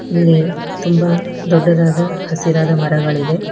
ಇಲ್ಲಿ ತುಂಬಾ ದೊಡ್ಡದಾದ ಹಸಿರಾದ ಮರಗಳಿವೆ.